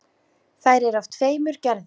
Þær eru af tveimur gerðum.